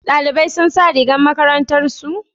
Dalibai sun sa rigar makarantar su?